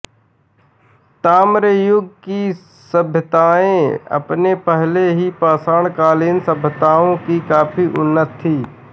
ताम्र युग की सभ्यतायें अपने पहले की पाषाणकालीन सभ्यताओं से काफी उन्नत थीं